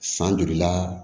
San joli la